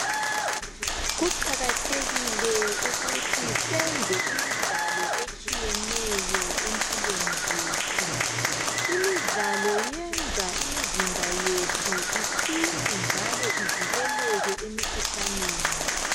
Kuqakathekile ukuthi senze imidlalo etshiyeneyo empilweni zethu Imidlalo yenza imizimba yethu iqine njalo ivikeleke emikhuhlaneni